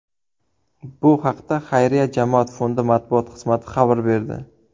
Bu haqda xayriya jamoat fondi matbuot xizmati xabar berdi .